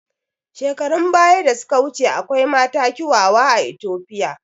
Shekarun baya da suka wuce akwai mata kiawawa a Itopia